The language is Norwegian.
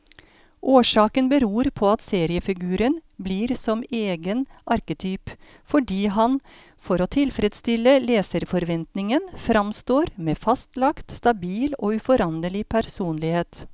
Årsaken beror på at seriefiguren blir som egen arketyp, fordi han for å tilfredstille leserforventningen framstår med fastlagt, stabil og uforanderlig personlighet.